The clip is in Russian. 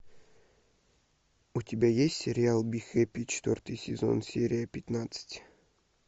у тебя есть сериал би хэппи четвертый сезон серия пятнадцать